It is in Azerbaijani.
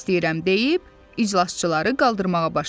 Üzr istəyirəm deyib iclasçıları qaldırmağa başladı.